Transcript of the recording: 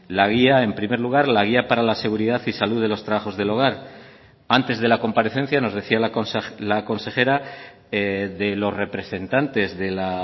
la guía en primer lugar la guía para la seguridad y salud de los trabajos del hogar antes de la comparecencia nos decía la consejera de los representantes de la